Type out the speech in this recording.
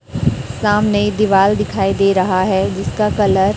सामने दीवाल दिखाई दे रहा है जिसका कलर --